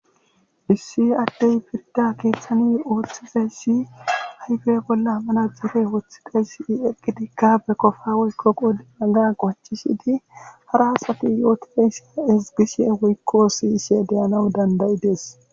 issi addey pirda keeththani ooththizayssi haygey bolla hammana dxefe woththidayssi i eqqidikka be kofa woykko qoi aga goacishidi hara asati yootidey ezgisie woykko siyishe deyanaw dandayi dees